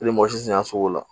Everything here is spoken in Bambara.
mɔgɔ si tɛ na sugu la